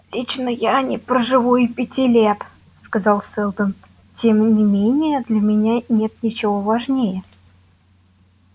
лично я не проживу и пяти лет сказал сэлдон и тем не менее для меня нет ничего важнее